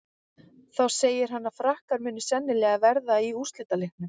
Þá segir hann að Frakkar muni sennilega verða í úrslitaleiknum.